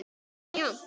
Það var jafnt.